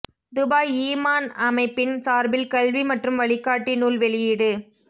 Dubai ஈமான் அமைப்பின் சார்பில் கல்வி மற்றும் வழிகாட்டி நூல் வெளியீடு